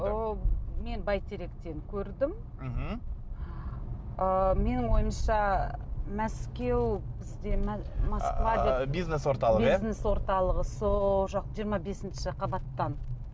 ы мен бәйтеректен көрдім мхм ы менің ойымша мәскеу бізде москва деп ы бизнес орталығы иә бизнес орталығы сол жақ жиырма бесінші қабаттан